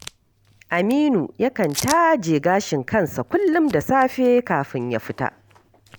Aminu yakan taje gashin kansa kullum da safe kafin ya fita